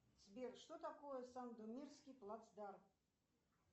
сбер что такое сандомирский плацдарм